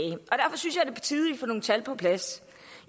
og nogle tal på plads